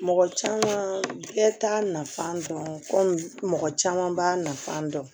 Mɔgɔ caman bɛɛ t'a nafa dɔn komi mɔgɔ caman b'a nafa dɔn